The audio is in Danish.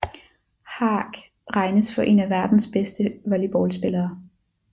Haak regnes for en af verdens bedste volleyballspillere